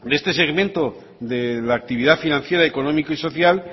este segmento de la actividad financiera económico y social